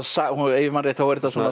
ef ég man rétt þá er þetta svona